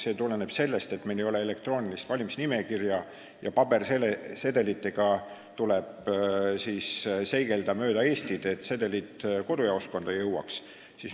See tuleneb sellest, et meil ei ole elektroonilist valimisnimekirja ja pabersedelitega tuleb seigelda mööda Eestit, et sedelid kodujaoskonda jõuaks.